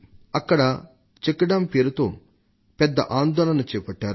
అక్కడ check dam పేరుతో పెద్ద ఆందోళన చేపట్టారు